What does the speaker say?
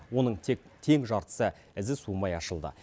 оның тек тең жартысы ізі суымай ашылды